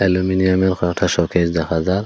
অ্যালুমিনিয়ামের কয়েকটা শোকেস দেখা যায়।